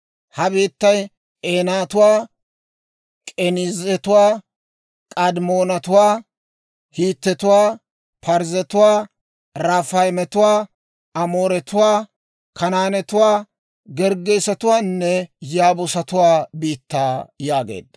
ha biittay K'eenatuwaa, K'eniizetuwaa, K'adimoonetuwaa, Hiitetuwaa, Parzzetuwaa, Raafaayetuwaa, Amooretuwaa, Kanaanetuwaa, Gerggeesetuwaanne Yaabuusatuwaa biittaa» yaageedda.